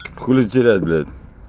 хули терять блядь